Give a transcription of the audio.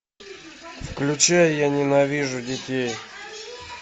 включай я ненавижу детей